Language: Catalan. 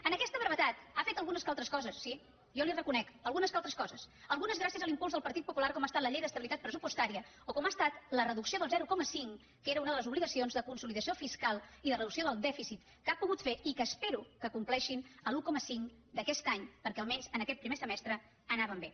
en aquesta brevetat ha fet algunes que altres coses sí jo li ho reconec algunes que altres coses algunes gràcies a l’impuls del partit popular com ha estat la llei d’estabilitat pressupostària o com ha estat la reducció del zero coma cinc que era una de les obligacions de consolidació fiscal i de reducció del dèficit que ha pogut fer i que espero que compleixin l’un coma cinc d’aquest any perquè almenys en aquest primer semestre anàvem bé